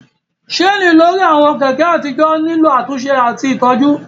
Ṣéènì lórí àwọn Kẹ̀kẹ́ àtijọ́ nílò àtúnṣe àti ìtọ́jú